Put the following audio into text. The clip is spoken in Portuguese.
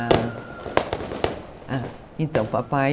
Ah, então, papai...